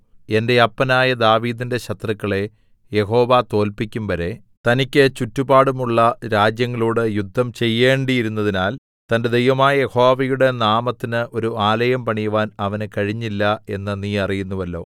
എന്റെ അപ്പനായ ദാവീദിന്റെ ശത്രുക്കളെ യഹോവ തോല്പിക്കും വരെ തനിക്ക് ചുറ്റുപാടുമുള്ള രാജ്യങ്ങളോട് യുദ്ധം ചെയ്യേണ്ടിയിരുന്നതിനാൽ തന്റെ ദൈവമായ യഹോവയുടെ നാമത്തിന് ഒരു ആലയം പണിവാൻ അവന് കഴിഞ്ഞില്ല എന്ന് നീ അറിയുന്നുവല്ലോ